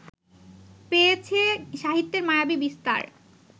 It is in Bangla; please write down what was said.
পেয়েছে সাহিত্যের মায়াবী বিস্তার